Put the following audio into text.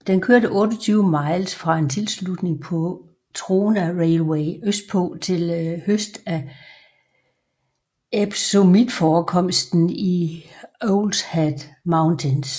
Den kørte 28 miles fra en tilslutning på Trona Railway østpå til høst af epsomitforekomster i Owlshead Mountains